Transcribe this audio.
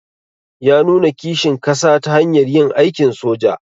Ya nuna kishin kasa ta hanyar yin aikin soja.